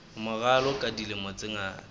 morao ka dilemo tse ngata